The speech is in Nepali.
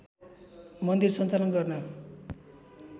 मन्दिर सञ्चालन गर्न